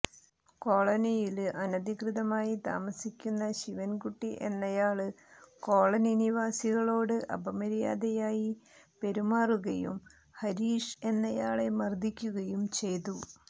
കോളനിയില് അനധികൃതമായി താമസിക്കുന്ന ശിവന്കുട്ടി എന്നയാള് കോളനിനിവാസികളോട് അപമര്യാദയായി പെറുമാറുകയും ഹരീഷ് എന്നയാളെ മര്ദ്ദിക്കുകയും ചെയ്തു